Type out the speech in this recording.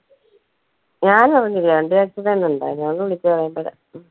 ഞാനറിഞ്ഞില്ല ഉണ്ടായിരുന്നു അവര് വിളിച്ച് പറയുമ്പഴാ